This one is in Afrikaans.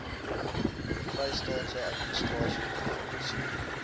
vrystaatse administrasie gefinansier